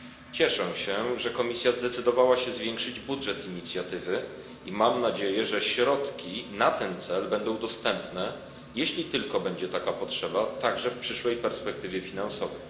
Cieszę się, że Komisja zdecydowała się zwiększyć budżet Inicjatywy, i mam nadzieję, że środki na ten cel będą dostępne jeśli tylko będzie taka potrzeba także w przyszłej perspektywie finansowej.